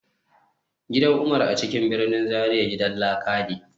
Gidan Umar a cikin birnin Zaria gidan laka ne